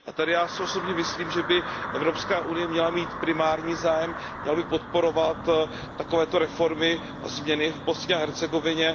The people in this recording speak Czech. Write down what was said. Tady já si osobně myslím, že by Evropská unie měla mít primární zájem, měla by podporovat takovéto reformy a změny v Bosně a Hercegovině.